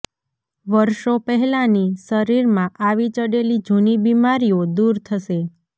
વર્ષો પહેલાની શરીરમાં આવી ચડેલી જૂની બીમારીઓ દૂર થશે